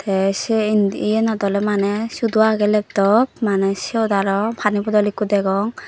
te se indi yanot oley maney sudo agey laptop maney siyot aro pani bodol ikko degong.